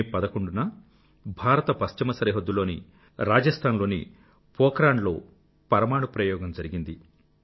మే 11 1998 లో భారత పశ్చిమ సరిహద్దుల్లో రాజస్థాన్ లోని పోఖరణ్ లో పరమాణు ప్రయోగం జరిగింది